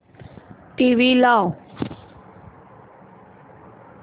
TV लाव